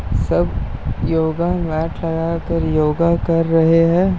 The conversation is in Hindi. सब योगा मैट लगाकर योगा कर रहे हैं।